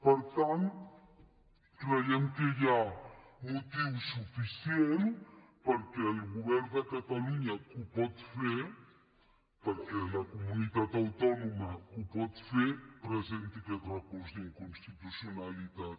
per tant creiem que hi ha motiu suficient perquè el govern de catalunya que ho pot fer perquè la comunitat autònoma que ho pot fer presenti aquest recurs d’inconstitucionalitat